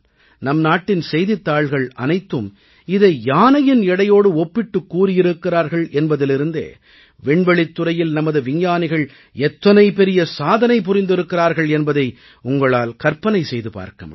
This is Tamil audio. நம் நாட்டின் செய்தித்தாள்கள் அனைத்தும் இதை யானையின் எடையோடு ஒப்பிட்டுக் கூறியிருக்கிறார்கள் என்பதிலிருந்தே விண்வெளித் துறையில் நமது விஞ்ஞானிகள் எத்தனை பெரிய சாதனை புரிந்திருக்கிறார்கள் என்பதை உங்களால் கற்பனை செய்து பார்க்க முடியும்